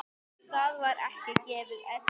Það var ekki gefið eftir.